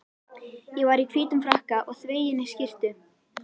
Ég var í hvítum frakka og þveginni skyrtu.